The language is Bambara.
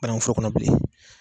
Banakun foro kɔnɔ bilen.